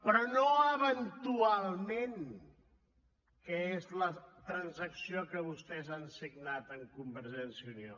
però no eventualment que és la transacció que vostès han signat amb convergència i unió